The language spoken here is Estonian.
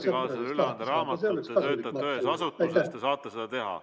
Kui te tahate ametikaaslasele raamatut üle anda, siis te töötate ühes asutuses ja te saate seda teha.